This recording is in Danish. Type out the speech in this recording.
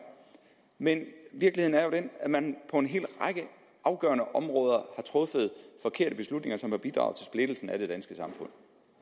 men virkeligheden er jo den at man på en hel række afgørende områder har truffet forkerte beslutninger som har bidraget til splittelsen af det danske samfund